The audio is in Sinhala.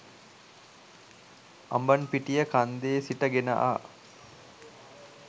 අඹන්පිටිය කන්දේ සිට ගෙන ආ